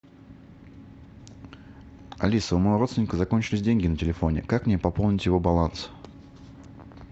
алиса у моего родственника закончились деньги на телефоне как мне пополнить его баланс